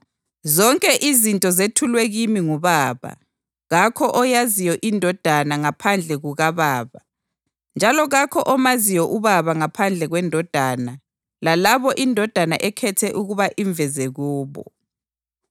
Zonke izinto zethulwe kimi nguBaba. Kakho oyaziyo iNdodana ngaphandle kukaBaba, njalo kakho omaziyo uBaba ngaphandle kweNdodana lalabo iNdodana ekhethe ukuba imveze kubo.